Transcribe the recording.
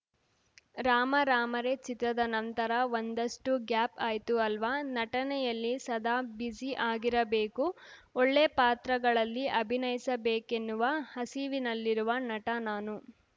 ರಾಮಾ ರಾಮಾ ರೇ ಚಿತ್ರದ ನಂತರ ಒಂದಷ್ಟುಗ್ಯಾಪ್‌ ಆಯ್ತು ಅಲ್ವಾ ನಟನೆಯಲ್ಲಿ ಸದಾ ಬ್ಯುಸಿ ಆಗಿರಬೇಕು ಒಳ್ಳೆಯ ಪಾತ್ರಗಳಲ್ಲಿ ಅಭಿನಯಿಸಬೇಕೆನ್ನುವ ಹಸಿವಿನಲ್ಲಿರುವ ನಟ ನಾನು